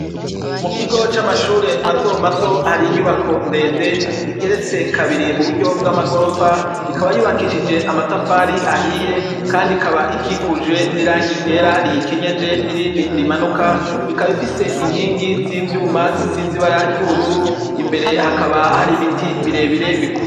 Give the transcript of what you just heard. Mu kigo c'amashure mato mato hari inyubako ndende igeretse kabiri mu buryo bw'amagorofa ikaba yubakishije amatafari ahiye kandi ikaba ikikujwe n'irangi ryera riyikenyeje n'irindi rimanuka ikaba ifise inkingi zi vyuma zisize ibara ry'ubururu imbere hakaba hari ibiti birebire bikuze.